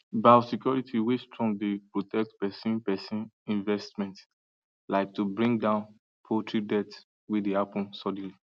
biosecurity way strong dey protect persin persin investments like to bring down poultry dealth way dey happen suddenly